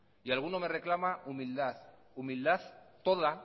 y alguno me reclama humildad humildad toda